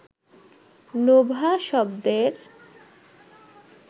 Nova শব্দের